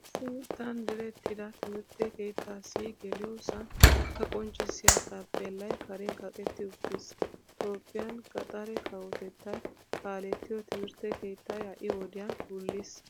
Issi mittan direttida timirtte keettasi geliyosan a qonccisiya taapelay karen kaqetti uttiis. Toophphiyan gaxare kawotettay kaalettiyo timrtte keettay hai wodiyan wuliis.